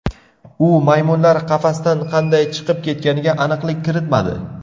U maymunlar qafasdan qanday chiqib ketganiga aniqlik kiritmadi.